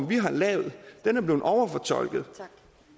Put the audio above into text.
vi har lavet er blevet overfortolket tak